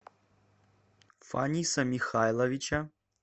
фаниса михайловича